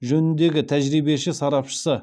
жөніндегі тәжірибеші сарапшысы